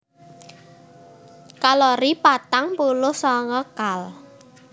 Kalori patang puluh sanga kal